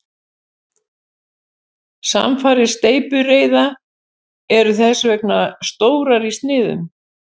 Samfarir steypireyða eru þess vegna stórar í sniðum.